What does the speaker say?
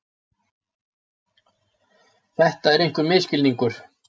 Þetta er einhver misskilningur.